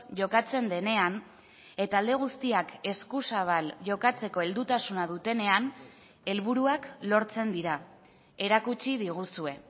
jokatzen denean eta alde guztiak eskuzabal jokatzeko heldutasuna dutenean helburuak lortzen dira erakutsi diguzue